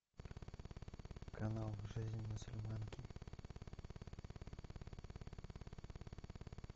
канал жизнь мусульманки